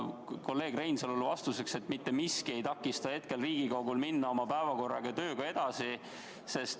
Kolleeg Reinsalule vastuseks, et mitte miski ei takista praegu Riigikogul oma tööga edasi minna.